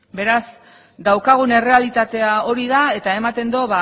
beraz daukagun errealitatea hori da eta ematen du